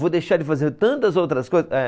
Vou deixar de fazer tantas outras coisas. É